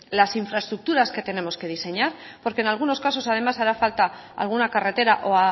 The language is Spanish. las infraestructuras que tenemos que diseñar porque en algunos casos además hará falta alguna carretera o